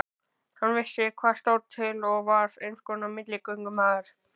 Hann vissi hvað til stóð og var einskonar milligöngumaður.